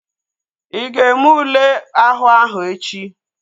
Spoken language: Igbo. Ị ga-eme ule àhú áhụ̀ echi?